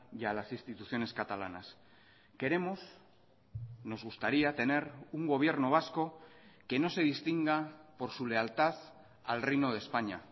y a las instituciones catalanas queremos nos gustaría tener un gobierno vasco que no se distinga por su lealtad al reino de españa